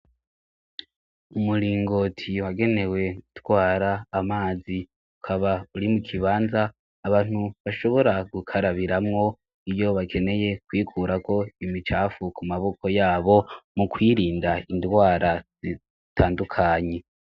umuringoti wagenewe utwara amazi ukaba uri mu kibanza abantu bashobora gukarabiramwo iyo bakeneye kwikura ko imicafu ku maboko yabo mu kwirinda indwara zitandukanye